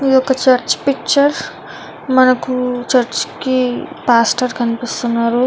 ఇది ఒక church picture . మనకి చర్చి కి పాస్టర్ కనిపిస్తున్నారు.